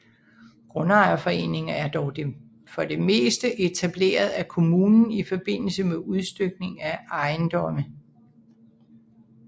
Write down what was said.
Grundejerforeninger er dog for det meste etableret af kommunen i forbindelse med udstykning af ejendomme